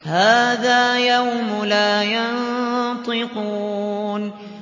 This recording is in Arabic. هَٰذَا يَوْمُ لَا يَنطِقُونَ